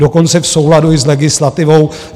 Dokonce i v souladu s legislativou.